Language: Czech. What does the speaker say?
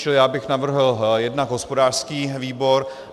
Čili já bych navrhl jednak hospodářský výbor.